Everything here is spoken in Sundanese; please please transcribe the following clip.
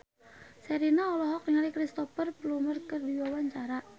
Sherina olohok ningali Cristhoper Plumer keur diwawancara